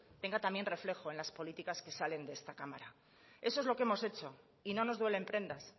tenga también reflejo en las políticas que salen de esta cámara eso es lo que hemos hecho y no nos duelen prendas